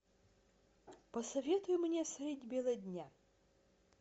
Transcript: посоветуй мне средь бела дня